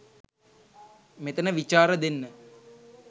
මෙතන විචාර දෙන්න